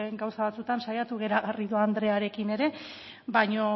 gauza batzuetan saiatu gara garrido andrearekin ere baino